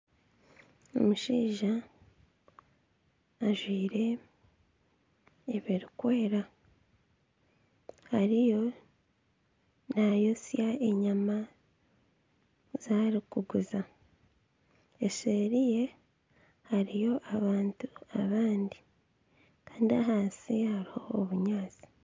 Omushaija ajwire ebirikwera ariyo naayotsya enyama ezi arikuguza, eseeri ye hariyo abantu abandi kandi ahansi hariho obunyaatsi